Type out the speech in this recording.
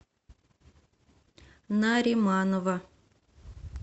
нариманова